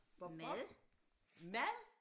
Bop bop mad